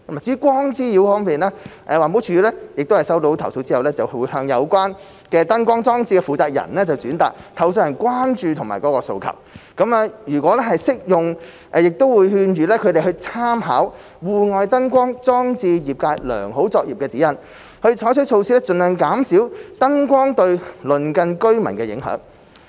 至於光滋擾方面，環保署在收到投訴後，會向有關燈光裝置的負責人轉達投訴人的關注及訴求；如適用亦會勸諭他們參考《戶外燈光裝置業界良好作業指引》，採取措施盡量減少燈光對鄰近居民的影響。